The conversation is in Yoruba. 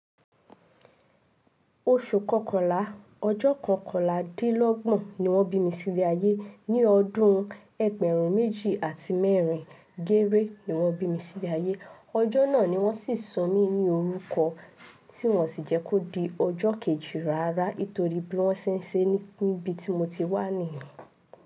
Oṣù Kọkànlá, ọjọ́ Kọkànlá dí lọ́gbọ̀n ni wọ́n bí mi sílé ayé. Ni ọdún Ẹgbẹ̀rún méjì àti mẹ́rin géré ni wọ́n bí mi sílé ayé. Ọjọ́ náà ni wọ́n sì sọ mí ní orúkọ, tí wọ́n sì jẹ́ kó di ọjọ́ kejì rárá nítorí bí wọ́n ṣe ń ṣe níbi tí mo ti wà nìyẹn.